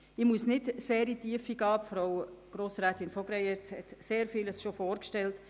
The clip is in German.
Ich muss dies nicht weiter vertiefen, Frau Grossrätin von Greyerz hat sehr vieles schon gesagt.